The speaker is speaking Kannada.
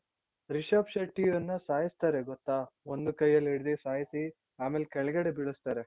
ರಿಷಬ್ ಶೆಟ್ಟಿಯನ್ನ ಸಾಯಿಸ್ತಾರೆ ಗೊತ್ತ ಒಂದು ಕೈಯಲ್ಲಿ ಹಿಡ್ದಿ ಸಾಯ್ಸಿ ಅಮೇಲ್ ಕೆಳಗಡೆ ಬೀಳುಸ್ತಾರೆ .